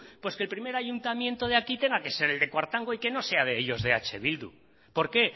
pues que el primer ayuntamiento de aquí tenga que ser el de cuartango y que no sea de ellos de eh bildu por qué